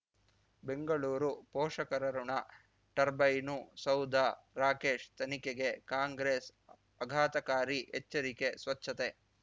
ಬೆಂಗಳೂರು ಪೋಷಕರಋಣ ಟರ್ಬೈನು ಸೌಧ ರಾಕೇಶ್ ತನಿಖೆಗೆ ಕಾಂಗ್ರೆಸ್ ಅಘಾತಕಾರಿ ಎಚ್ಚರಿಕೆ ಸ್ವಚ್ಛತೆ